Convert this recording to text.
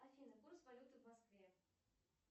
афина курс валюты в москве